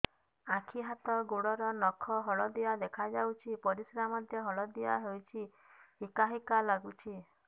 ଆଖି ହାତ ଗୋଡ଼ର ନଖ ହଳଦିଆ ଦେଖା ଯାଉଛି ପରିସ୍ରା ମଧ୍ୟ ହଳଦିଆ ହଉଛି ହିକା ହିକା ଲାଗୁଛି